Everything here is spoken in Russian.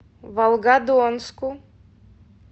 волгодонску